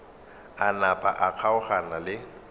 a napa a kgaogana le